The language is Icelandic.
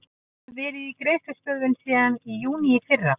Það hefur verið í greiðslustöðvun síðan í júní í fyrra.